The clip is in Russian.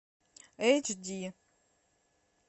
эйч ди